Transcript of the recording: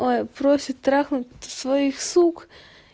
ой просит трахнуть своих сук